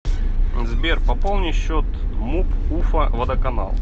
сбер пополни счет муп уфа водоканал